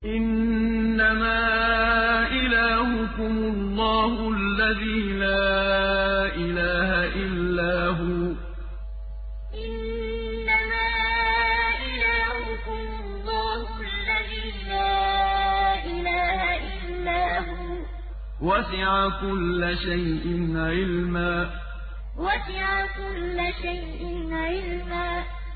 إِنَّمَا إِلَٰهُكُمُ اللَّهُ الَّذِي لَا إِلَٰهَ إِلَّا هُوَ ۚ وَسِعَ كُلَّ شَيْءٍ عِلْمًا إِنَّمَا إِلَٰهُكُمُ اللَّهُ الَّذِي لَا إِلَٰهَ إِلَّا هُوَ ۚ وَسِعَ كُلَّ شَيْءٍ عِلْمًا